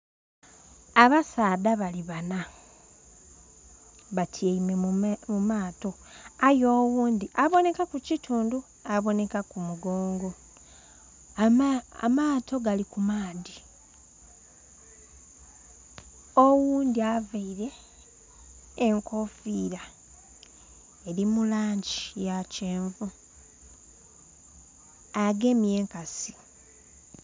Abasaadha bali bana, batyaime mu maato aye oghundi abonekaku kitundu, abonekaku mugongo. Amaato gali ku maadhi. Oghundi avaire enkofiira eri mu langi ya kyenvu agemye enkasi.